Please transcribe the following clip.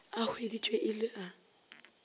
a hweditšwe e le a